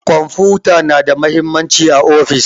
Kwamfuta na da mahimmanci a ofis.